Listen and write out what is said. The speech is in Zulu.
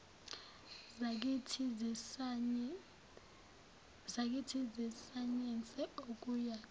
zakithi zesayense okuyoba